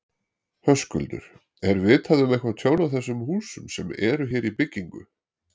Höskuldur: Er vitað um eitthvað tjón á þessum húsum sem eru hér í byggingu?